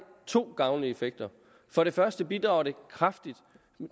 to gavnlige effekter for det første bidrager det kraftigt